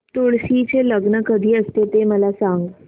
तुळशी चे लग्न कधी असते ते मला सांग